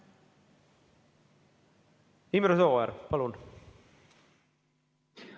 Imre Sooäär, palun!